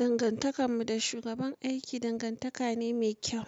Dangantakar mu da shugaban aiki dangantaka ne mai kyau.